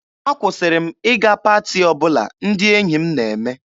Akwụsịrị m ịga paati ọbụla ndị enyi m na-eme.